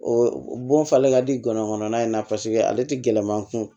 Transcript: O bon falen ka di ngɔnɔnkɔnɔna in na paseke ale tɛ gɛlɛman kun